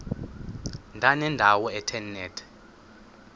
ndanendawo ethe nethe